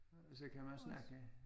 Og så kan man også man kan